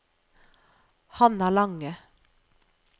Hanna Lange